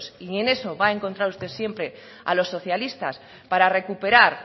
y en eso va a encontrar usted siempre a los socialistas para recuperar